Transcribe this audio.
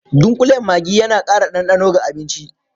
Dunƙulen Maggi yana ƙara ɗanɗano ga abinci.